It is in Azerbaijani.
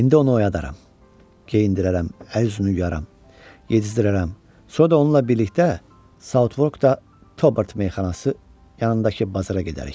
İndi onu oyadaram, geyindirərəm, əl-üzünü yuyaram, yedizdirərəm, sonra da onunla birlikdə Sautvorkda Tobert Meyxanası yanındakı bazara gedərik.